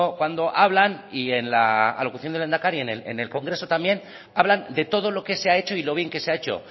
cuando hablan y en la alocución del lehendakari en el congreso también hablan de todo lo que se ha hecho y lo bien que se ha hecho